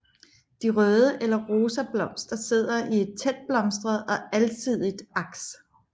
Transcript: De røde eller rosa blomster sidder i et tætblomstret og alsidigt aks